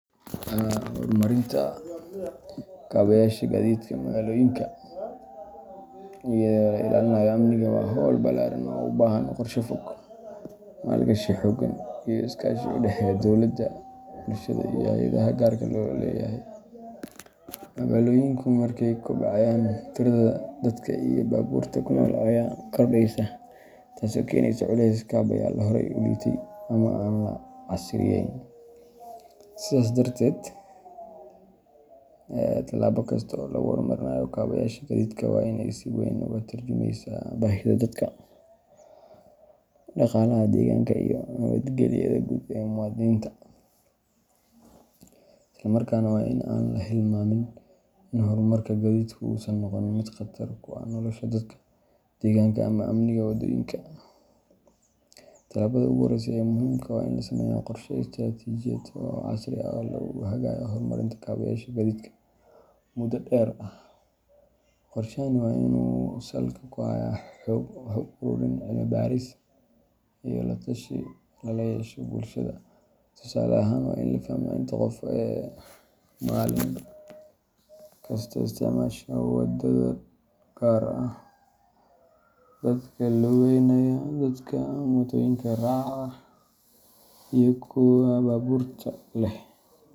Horumarinta kaabayaasha gaadiidka magaalooyinka iyadoo la ilaalinayo amniga waa hawl ballaaran oo u baahan qorshe fog, maalgashi xooggan, iyo iskaashi u dhexeeya dowladda, bulshada, iyo hay’adaha gaarka loo leeyahay. Magaalooyinku markay kobcayaan, tirada dadka iyo baabuurta ku nool ayaa kordhaysa, taas oo keenaysa culays kaabayaal horey u liitay ama aan la casriyeeyn. Sidaas darteed, tallaabo kasta oo lagu horumarinayo kaabayaasha gaadiidka waa in ay si weyn uga tarjumaysaa baahida dadka, dhaqaalaha deegaanka, iyo nabadgelyada guud ee muwaadiniinta. Isla markaana, waa in aan la hilmaamin in horumarka gaadiidku uusan noqon mid khatar ku ah nolosha dadka, deegaanka, ama amniga waddooyinka. Tallaabada ugu horreysa ee muhiimka ah waa in la sameeyo qorshe istaraatijiyadeed oo casri ah oo lagu hagayo horumarinta kaabayaasha gaadiidka muddo dheer ah. Qorshahani waa in uu salka ku hayo xog ururin, cilmi-baaris, iyo la-tashi lala yeesho bulshada. Tusaale ahaan, waa in la fahmaa inta qof ee maalin walba isticmaasha waddo gaar ah, sida dadka lugeynaya, dadka mootooyinka raaca, iyo kuwa baabuurta leh.